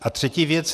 A třetí věc.